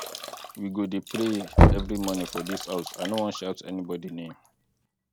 we go dey pray every morning for dis house i no wan shout anybody name